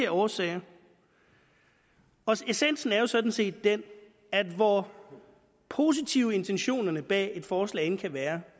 årsager og essensen er jo sådan set den at hvor positive intentionerne bag et forslag end kan være